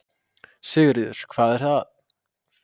Sigríður: Hvað er það?